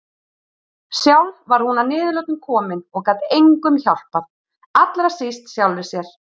Sjálf var hún að niðurlotum komin og gat engum hjálpað, allra síst sjálfri sér.